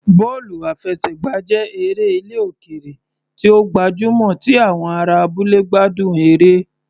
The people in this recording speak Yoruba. Bọ́ọ̀lù àfẹsẹ̀gbá jẹ́ eré ilẹ̀ òkèèrè tí ó gbajúmọ̀ tí àwọn ará abúlé gbádùn eré